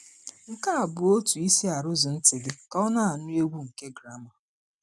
Nke a bụ otú ị si arụzụ ntị gị ka ọ na-anụ egwu nke gramà.